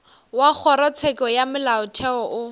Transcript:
wa kgorotsheko ya molaotheo o